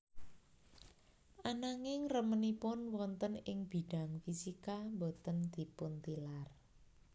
Ananging remenipun wonten ing bidang fisika boten dipuntilar